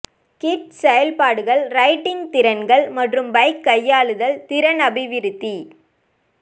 kids செயல்பாடுகள் riding திறன்கள் மற்றும் பைக் கையாளுதல் திறன் அபிவிருத்தி